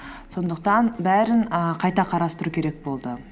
сондықтан бәрін і қайта қарастыру керек болды